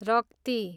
रक्ती